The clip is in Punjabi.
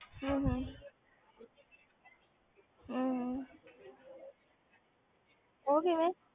ਹਮ ਹਮ ਹਮ ਹਮ ਉਹ ਕਿਵੇਂ?